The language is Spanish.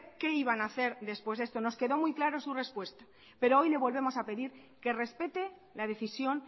qué iban a hacer después de esto nos quedó muy claro su respuesta pero hoy le volvemos a pedir que respete la decisión